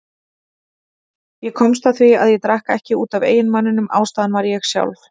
Ég komst að því að ég drakk ekki út af eiginmanninum, ástæðan var ég sjálf.